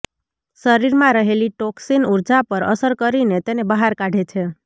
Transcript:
શરીરમાં રહેલી ટોક્સીન ઉર્જા પર અસર કરીને તેને બહાર કાઢે છે